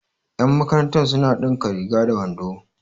yanmakaranta suna dinka riga da wando